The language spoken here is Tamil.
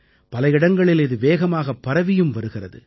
பல இடங்களில் இது வேகமாகப் பரவியும் வருகிறது